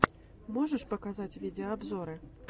можешь показать видеообзоры